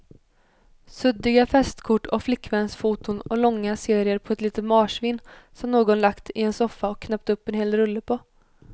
Suddiga festkort och flickvänsfoton och långa serier på ett litet marsvin som någon lagt i en soffa och knäppt upp en hel rulle på.